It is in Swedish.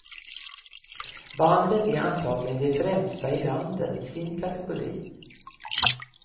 Bandet är antagligen det främsta i landet i sin kategori.